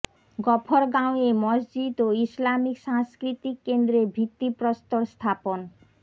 গফরগাঁওয়ে মসজিদ ও ইসলামিক সাংস্কৃতিক কেন্দ্রের ভিত্তি প্রস্তর স্থাপন